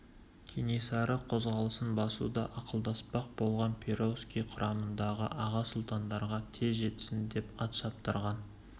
кенесары қозғалысын басуды ақылдаспақ болған перовский қарамағындағы аға сұлтандарға тез жетсін деп ат шаптырған